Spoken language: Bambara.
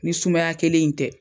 Ni sumaya kelen in tɛ.